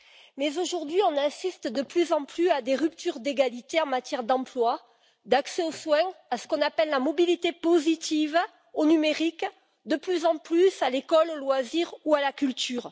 Mais aujourd'hui, on assiste de plus en plus à des ruptures d'égalité en matière d'emploi et en matière d'accès aux soins, à ce qu'on appelle la mobilité positive, au numérique, ainsi que, de plus en plus, à l'école, aux loisirs ou à la culture.